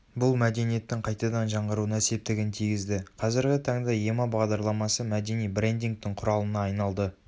бұл мәдениеттің қайтадан жаңғыруына септігін тигізді қазіргі таңда ема бағдарламасы мәдени брендингтің құралына айналды